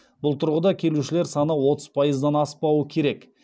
бұл тұрғыда келушілер саны отыз пайыздан аспауы керек